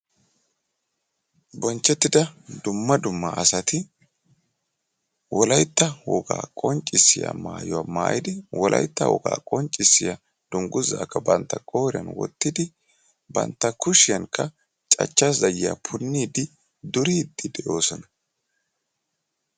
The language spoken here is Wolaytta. bonchetida dumma dumma assati bantta kushiyanika cachcha zayiya oyqidi yexxidinne duridi beettosona.